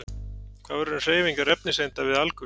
Hvað verður um hreyfingar efniseinda við alkul?